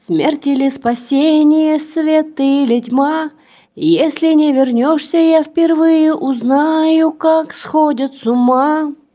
смерть или спасение свет или тьма если не вернёшься я впервые узнаю как сходят с ума